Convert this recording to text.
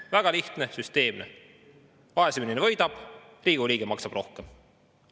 Väga lihtne ja süsteemne: vaesem inimene võidab, Riigikogu liige maksab rohkem.